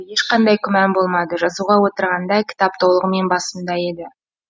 ешқандай күмән болмады жазуға отырғанда кітап толығымен басымда еді